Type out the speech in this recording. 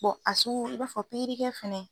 a sugu i b'a fɔ pikirikɛ fɛnɛ